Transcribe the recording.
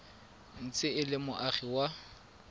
ntse e le moagi wa